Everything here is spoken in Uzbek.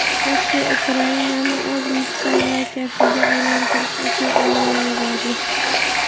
Rossiya Ukrainani o‘z mustamlakasiga aylantirish uchun armiya yubordi.